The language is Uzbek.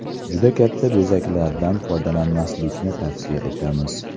Juda katta bezaklardan foydalanmaslikni tavsiya etamiz.